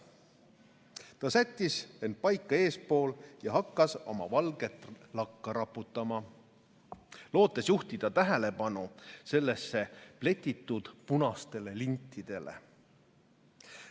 Ta sättis end paika eespool ja hakkas oma valget lakka raputama, lootes juhtida tähelepanu sellesse pletitud punastele lintidele.